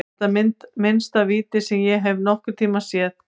Þetta er minnsta víti sem ég hef séð nokkurntímann.